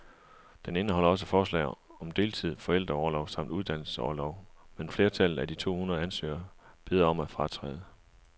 Den indeholder også forslag om deltid, forældreorlov samt uddannelsesorlov, men flertallet af de to hundrede ansøgere beder om at fratræde.